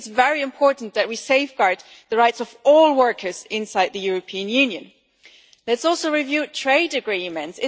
I think it is very important that we safeguard the rights of all workers inside the European Union. Let us also review trade agreements.